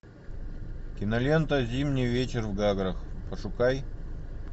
кинолента зимний вечер в гаграх пошукай